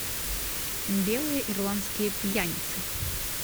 белые ирландские пьяницы